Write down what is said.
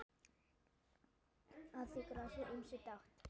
Að því grasi ýmsir dást.